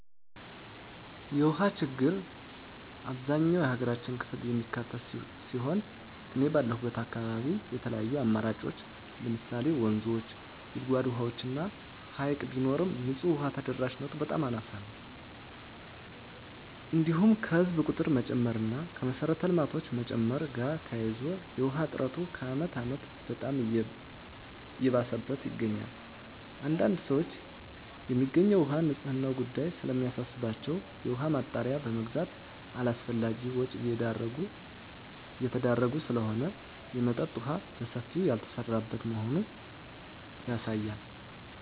የውሃ ችግር አብዛኛው የሀገራችን ክፍል የሚካትት ሲሆን እኔ ባለሁበት አካባቢ የተለያዩ አማራጮች ለምሳሌ ወንዞች; ጉድጓድ ውሃዎች እና ሀይቅ ቢኖርም ንፁህ ውሃ ተደራሽነቱ በጣም አናሳ ነው። እንዲሁም ከህዝብ ቁጥር መጨመር እና ከመሰረተ ልማቶች መጨመር ጋር ተያይዞ የውሃ እጥረቱ ከአመት አመት በጣም እየባሰበት ይገኛል። አንዳንድ ሰዎች የሚገኘው ውሃ የንፅህናው ጉዳይ ስለሚያሳስባቸው የውሃ ማጣሪያ በመግዛት አላስፈላጊ ወጭ እየተዳረጉ ስለሆነ የመጠጠጥ የውሃ በሰፊው ያልተሰራበት መሆኑ ያሳያል።